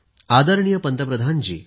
आदरणीय पंतप्रधान जी